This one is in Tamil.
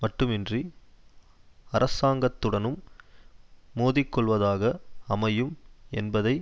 மட்டுமின்றி அரசாங்கத்துடனும் மோதிக்கொள்வதாக அமையும் என்பதை